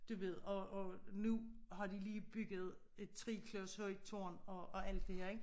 Du ved og og nu har de lige bygget et 3 klods højt tårn og og alt det her ik